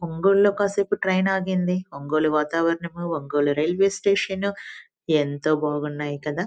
ఒంగోలు లో కాసేపు ట్రైన్ ఆగింది ఒంగోలు వాతావరణం ఒంగోలు రైల్వే స్టేషన్ ఎంతో బాగున్నాయి కదా.